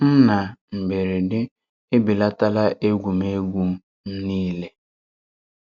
M n’ámberede èbèlàtàlá égwú m égwú m niile.